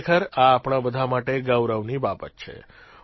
ખરેખર આ આપણા બધા માટે ગૌરવની બાબત છે